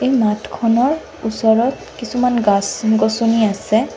নাট খনৰ ওচৰত কিছুমান গাছ গছনি আছে।